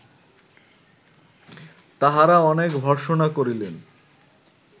তাঁহারা অনেক ভর্সনা করিলেন